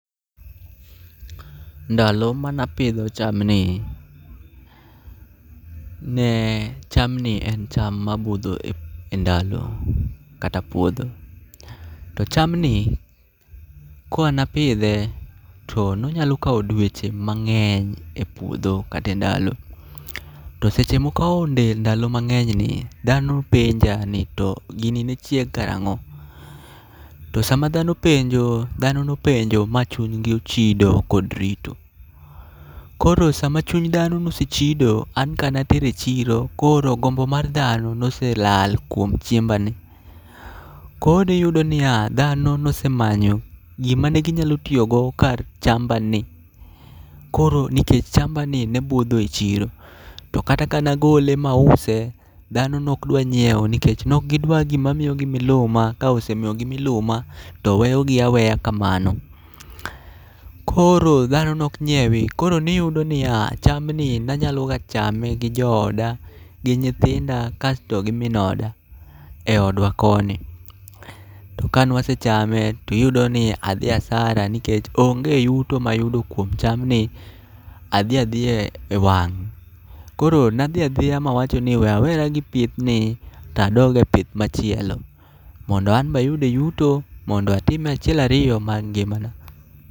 Ndalo manapidho chamni, ne chamni en cham ma budho e ndalo kata puodho. To chamni koa napidhe to nonyalo weche mang'eny e puodho kate ndalo. To seche mokawo ndalo mag'enyni, dhano penja ni to gini ne chieg karang'o? To sama dhano penjo, dhano nopenjo ma chunygi ochido kod rito. Koro sama chuny dhano nosechido an kanatero e chiro koro gombo mar dhano noselal kuom chiemba ni. Koro niyudo niya, dhano nosemanyo gima ne ginyalo tiyogo kar chamba ni. Koro nikech chamba ni ne budho e chiro, to kata ka nagole mause, dhano nok dwa nyiewo. Nikech nok gidwa gima miyogi miluma, ka osemiyogi miluma to weyogi aweya kamano. Koro dhano nok nyiewi., koro niyudo niya: chamni nanyaloga chame gi jooda, gi nyithindo, kasto gi min oda e odwa koni. To kanwasechame tiyudo ni adhi asara nikech onge yuto mayudo kuom chamni, adhi adhiya e wang'. Koro nadhi adhiya mawacho ni we awera gi pith ni tadoge pich machielo. Mondo anbe ayude yuto mando atime achiel ariyo mag ngimana.